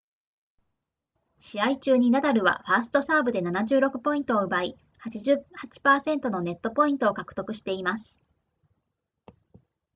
試合中にナダルはファーストサーブで76ポイントを奪い 88% のネットポイントを獲得しています